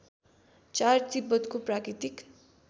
४ तिब्बतको प्राकृतिक